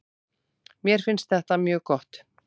Mér finnst þetta mjög gott.